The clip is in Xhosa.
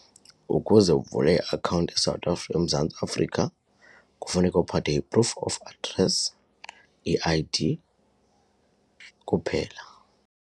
Ukuze uvule iakhawunti eSouth eMzantsi Afrika kufuneka uphathe i-proof of address, I_D kuphela.